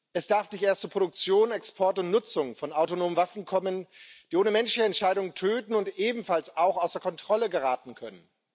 Es darf nicht erst zu Produktion, Export und Nutzung von autonomen Waffen kommen, die ohne Menschenentscheidung töten und ebenfalls außer Kontrolle geraten können.